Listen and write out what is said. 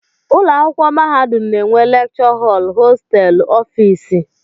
Ụlọakwụkwọ mahadum na-enwe lekchọ họl, hosteelụ, ọfịịsị